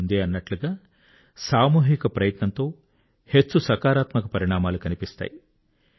నేను ముందే అన్నట్టుగా సామూహిక ప్రయత్నంతో హెచ్చు సకారాత్మక పరిణామాలు కనిపిస్తాయి